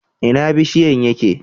Ina bishiyan yake?